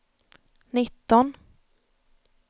nitton